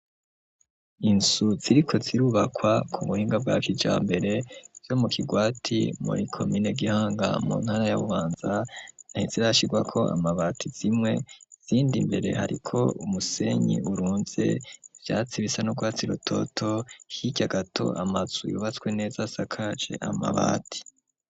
Inzu ziriko zirubakwa ku buhinga bwa kijambere vyo mu kigwati muri komine gihanga mu ntara y'abubanza ntizirashigwako amabati zimwe zindi mbere hariko umusenyi urunze vyatsi bisa no gwatsi rototo hikya gato amatsu yubatswe neza hakaje amabati.